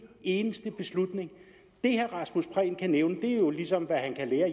eneste beslutning det herre rasmus prehn kan nævne er jo ligesom hvad han kan lære